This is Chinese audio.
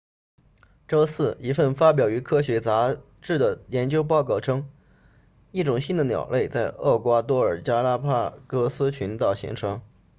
周四一份发表于科学杂志的研究报告称一种新的鸟类在厄瓜多尔加拉帕戈斯群岛形成